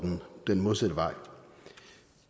den modsatte vej